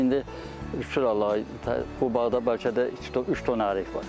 İndi şükür Allaha, bu bağda bəlkə də iki-üç ton ərik var.